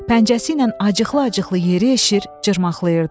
Pəncəsi ilə acıqlı-acıqlı yeri eşir, cırmaqlayırdı.